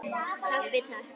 Kaffi, Takk!